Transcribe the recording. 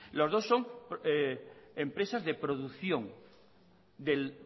las dos son empresas de producción del